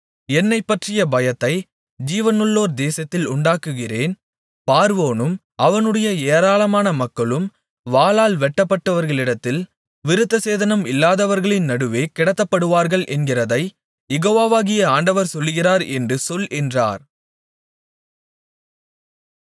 என்னைப்பற்றிய பயத்தை ஜீவனுள்ளோர் தேசத்தில் உண்டாக்குகிறேன் பார்வோனும் அவனுடைய ஏராளமான மக்களும் வாளால் வெட்டுபட்டவர்களிடத்தில் விருத்தசேதனம் இல்லாதவர்களின் நடுவே கிடத்தப்படுவார்கள் என்கிறதைக் யெகோவாகிய ஆண்டவர் சொல்லுகிறார் என்று சொல் என்றார்